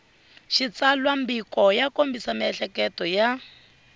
xitsalwambiko ya kombisa miehleketo ya